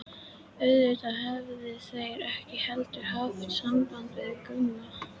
Auðvitað höfðu þeir ekki heldur haft samband við Gumma.